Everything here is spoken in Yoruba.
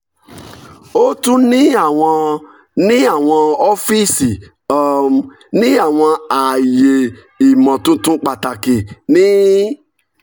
o tun ni awọn ni awọn ọfiisi um ni awọn aaye imotuntun pataki ni